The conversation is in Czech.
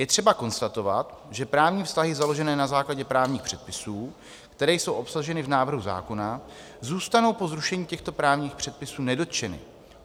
Je třeba konstatovat, že právní vztahy založené na základě právních předpisů, které jsou obsaženy v návrhu zákona, zůstanou po zrušení těchto právních předpisů nedotčeny.